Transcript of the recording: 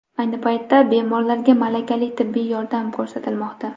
Ayni paytda bemorlarga malakali tibbiy yordam ko‘rsatilmoqda.